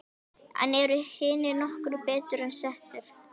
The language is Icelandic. En eru hinir nokkru betur settir?